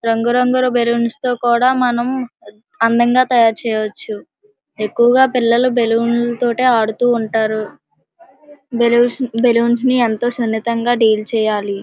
రంగు రంగుల బెలూన్స్ తో కూడా మనం అందంగా తయారుచేయొచ్చు. ఎక్కువుగా పిల్లలు బెలూన్ లతోటే ఆడుతూ ఉంటారు. బెలూన్-బెలూన్స్ ని ఎంతో సున్నితంగా డీల్ చేయాలి.